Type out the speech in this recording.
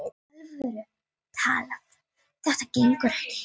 alvöru talað: þetta gengur ekki!